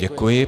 Děkuji.